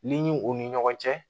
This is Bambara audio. N'i u ni ɲɔgɔn cɛ